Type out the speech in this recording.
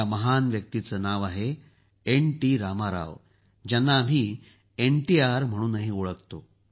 या महान व्यक्तीचं नाव आहे एन टी रामाराव ज्यांना आम्ही एनटीआर म्हणूनही ओळखतो